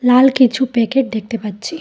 আল কিচু প্যাকেট দেখতে পাচ্চি।